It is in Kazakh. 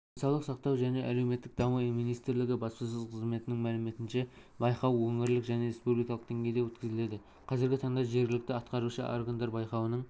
денсаулық сақтау және әлеуметтік даму министрлігі баспасөз қызметінің мәліметінше байқау өңірлік және республикалық деңгейде өткізіледі қазіргі таңда жергілікті атқарушы органдар байқаудың